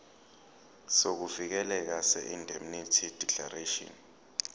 sokuvikeleka seindemnity declaration